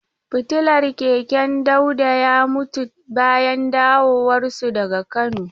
Fitilar keken Dauda ya mutu bayan dawowarsu daga Kano.